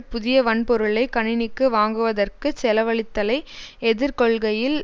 புதிய வன்பொருளை கணினிக்கு வாங்குவதற்குச் செலவழித்தலை எதிர் கொள்கையில்